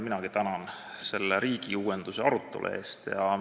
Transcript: Minagi tänan selle riigiuuenduse arutelu eest.